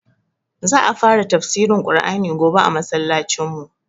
Za a fara tafsirin Ƙur'ani gobe a masallacin mu